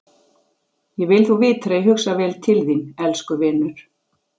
Ég vil þú vitir að ég hugsa vel til þín- elsku vinur.